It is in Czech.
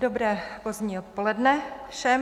Dobré pozdní odpoledne všem.